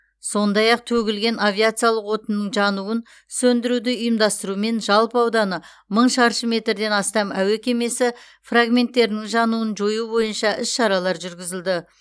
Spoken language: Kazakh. сондай ақ төгілген авиациялық отынның жануын сөндіруді ұйымдастырумен жалпы ауданы мың шаршы метрден астам әуе кемесі фрагменттерінің жануын жою бойынша іс шаралар жүргізілді